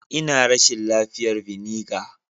Ina rashin lafiyar vinegar.